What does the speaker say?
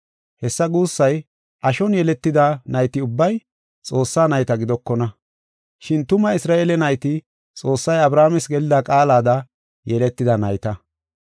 Hessa guussay ashon yeletida nayti ubbay Xoossaa nayta gidokona. Shin tuma Isra7eele nayti Xoossay Abrahaames gelida qaalada yeletida nayta.